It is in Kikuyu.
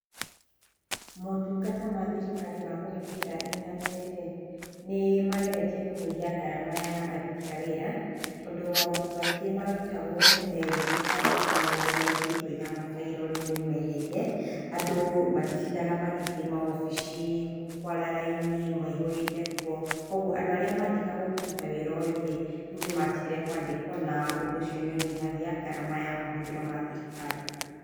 Maũtungata ma thirikari ma kũhĩtũkĩra intaneti rĩ, nĩ mageretie kũnyihia ngarama ya aruti a wĩra, tondũ maũndũ maingĩ marutagwo tene rĩngĩ kwandĩka maũndu maingĩ, kũiga mabairo, rĩu nĩ meeherire. Andũ matitindaga magĩthiĩ maobisi kũara raini, maihũrĩte kuo .Kwoguo andũ arĩa maandĩkagwo kũruta wĩra ũyũ rĩ, rĩu nĩ matigire kũandikwo na ũndũ ũcio nĩ ũnyihagia ngarama ya mahũthĩro ma thirikari.